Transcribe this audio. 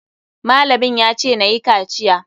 Malamin ya ce nayi kaciya.